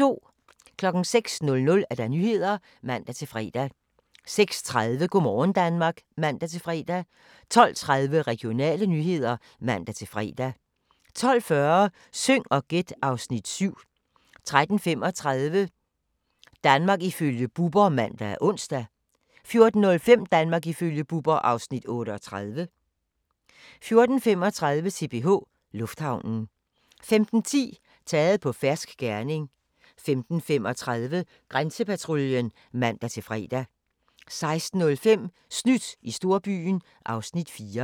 06:00: Nyhederne (man-fre) 06:30: Go' morgen Danmark (man-fre) 12:30: Regionale nyheder (man-fre) 12:40: Syng og gæt (Afs. 7) 13:35: Danmark ifølge Bubber (man og ons) 14:05: Danmark ifølge Bubber (Afs. 38) 14:35: CPH Lufthavnen 15:10: Taget på fersk gerning 15:35: Grænsepatruljen (man-fre) 16:05: Snydt i storbyen (Afs. 4)